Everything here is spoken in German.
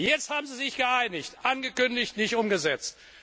Jetzt haben sie sich geeinigt angekündigt, nicht umgesetzt.